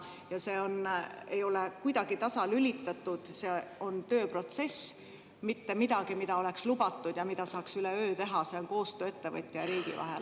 Ja see ei ole kuidagi tasalülitatud, see on tööprotsess, mitte midagi, mida oleks lubatud ja mida saaks üleöö teha, see on koostöö ettevõtja ja riigi vahel.